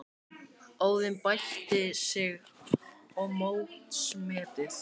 Óðinn bætti sig og mótsmetið